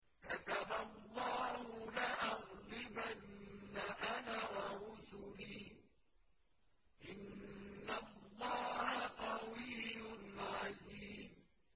كَتَبَ اللَّهُ لَأَغْلِبَنَّ أَنَا وَرُسُلِي ۚ إِنَّ اللَّهَ قَوِيٌّ عَزِيزٌ